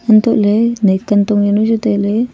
antoh ley nai kantong jaw nu chu tai ley.